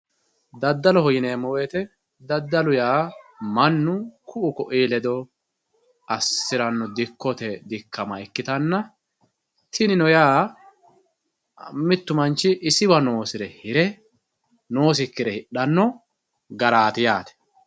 daddaloho yinanni woyiite daddaloho yaa mannu ku'u ku'uyii ledo assiranno dikkote dikkama ikkitanna tinino yaa mittu manchi isiwa noosire hire noosikkire hidhanno garaati yaate.